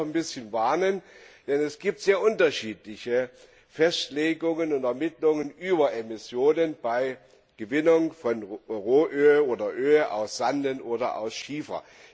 Davor möchte ich doch warnen, denn es gibt sehr unterschiedliche Festlegungen und Ermittlungen über Emissionen bei der Gewinnung von Rohöl oder Öl aus Sanden oder aus Schiefer.